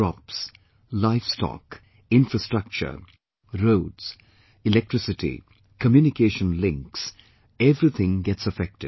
Crops, livestock, infrastructure, roads, electricity, communication links everything gets affected